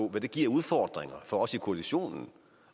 hvad det giver af udfordringer for os i koalitionen